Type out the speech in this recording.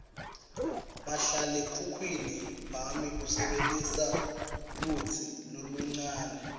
mahlalekhukhwini wami usebentisa lutsi loluncane